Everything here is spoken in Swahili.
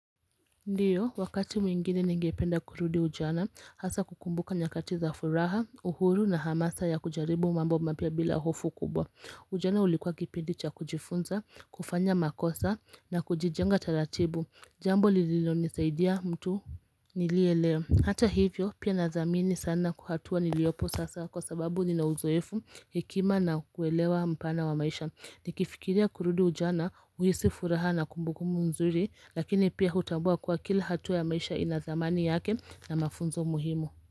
Ndiyo wakati mwingine ningependa kurudi ujana hasa kukumbuka nyakati za furaha uhuru na hamasa ya kujaribu mambo mapia bila hofu kubwa Ujana ulikuwa kipindi cha kujifunza kufanya makosa na kujijenga taratibu jambo lilinonisaidia mtu nilie leo Hata hivyo pia nadamini sana hatua niliopo sasa kwa sababu nina uzoefu hekima na kuelewa mpana wa maisha ni kifikiria kurudi ujana uisi furaha na kumbuku mzuri lakini pia hutambua kwa kila hatu ya maisha inazamani yake na mafunzo muhimu.